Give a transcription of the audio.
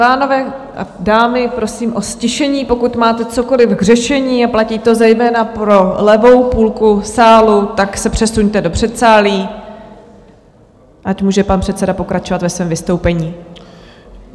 Pánové a dámy, prosím o ztišení, pokud máme cokoliv k řešení, a platí to zejména pro levou půlku sálu, tak se přesuňte do předsálí, ať může pan předseda pokračovat ve svém vystoupení.